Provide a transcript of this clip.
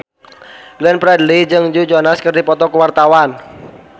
Glenn Fredly jeung Joe Jonas keur dipoto ku wartawan